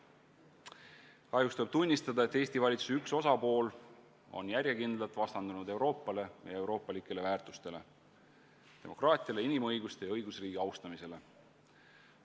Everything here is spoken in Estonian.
Kahjuks tuleb tunnistada, et Eesti valitsuse üks osapool on järjekindlalt vastandunud Euroopale ja euroopalikele väärtustele – demokraatiale, inimõigustele ja õigusriigi austamisele.